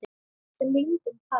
Sem lindin tær.